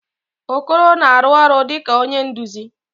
Okoro na-arụ ọrụ dịka onye nduzi.